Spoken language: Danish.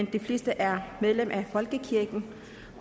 de fleste er medlemmer af folkekirken